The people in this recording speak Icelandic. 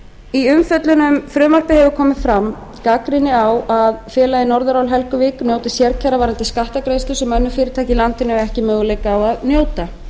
í umfjöllun um frumvarpið hefur komið fram gagnrýni á að félagið norðurál helguvík njóti sérkjara varðandi skattgreiðslur sem önnur fyrirtæki í landinu eiga ekki möguleika á að njóta